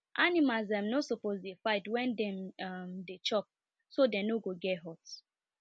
animals um no suppose dey fight when dem um dey chop so dem no go get hurt